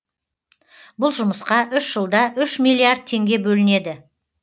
бұл жұмысқа үш жылда үш миллиард теңге бөлінеді